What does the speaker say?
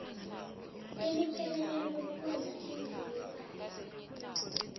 elipheleleko lokwenza iimvumelwano